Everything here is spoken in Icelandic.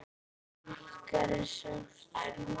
Ykkar er sárt saknað.